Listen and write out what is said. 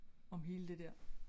Om hele det dér